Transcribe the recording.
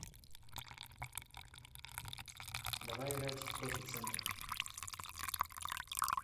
давай играть в профи центр